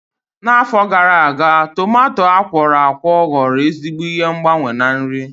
N'afọ gara aga, tumato akworakwo ghọrọ ezigbo ihe ngbanwe na nri.